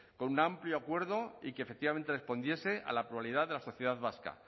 con un amplio acuerdo y que efectivamente respondiese a la pluralidad de la sociedad vasca